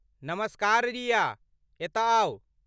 नमस्कार रिया, एतय आउ।